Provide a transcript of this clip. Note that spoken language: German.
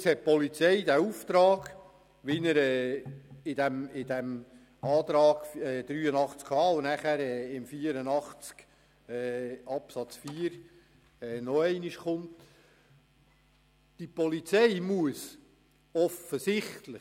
Stellen Sie sich weiter vor, die Polizei hat den Auftrag, wie er in Artikel 83 Absatz 1 Buchstabe h (neu) und später auch in Artikel 84 Absatz 4 nochmals formuliert ist.